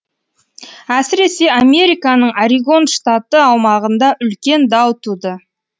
әсіресе американың орегон штаты аумағында үлкен дау туды